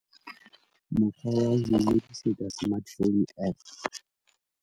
Mokgwa wa ho ingodisetsa smart phone app.